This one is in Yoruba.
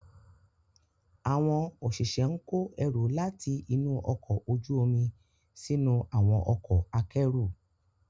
Àwọn òṣìṣẹ́ ń kó ẹrù láti inú ọkọ̀ ojú omi sínú àwọn ọkọ̀ akẹ́rù.